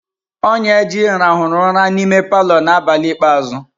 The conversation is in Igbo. Onyeji rahuru ura n'ime palọ na abali ikpeazu.